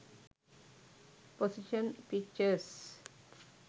position pictures